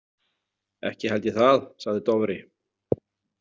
Ekki held ég það, sagði Dofri.